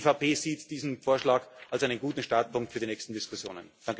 Die EVP sieht diesen Vorschlag als einen guten Startpunkt für die nächsten Diskussionen.